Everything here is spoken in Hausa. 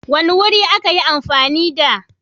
wani wuri a ka yi amfani da